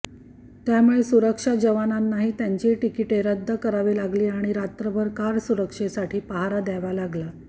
त्यामुळे सुरक्षा जवानांनाही त्यांची तिकीटे रद्द करावी लागली आणि रात्रभर कार सुरक्षेसाठी पहारा द्यावा लागला